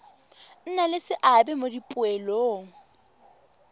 nna le seabe mo dipoelong